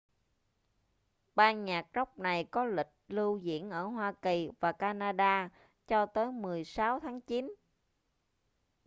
ban nhạc rock này có lịch lưu diễn ở hoa kỳ và canada cho tới 16 tháng chín